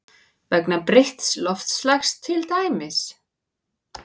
Vegna breytts loftslags til dæmis?